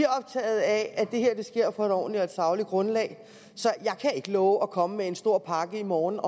optaget af at det her sker på et ordentligt fagligt grundlag så jeg kan ikke love at komme med en stor pakke i morgen og